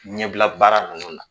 Ɲɛbila baara ninnu la